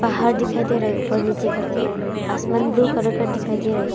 घर दिखाई दे रहे ऊपर नीचे करके आसमान ब्लू करके दिखाई दे रहा है।